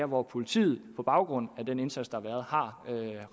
hvor politiet på baggrund af den indsats der har været har